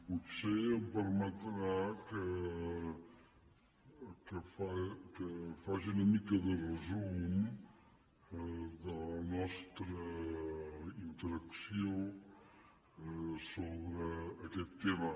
potser em permetrà que faci una mica de resum de la nostra interacció sobre aquest tema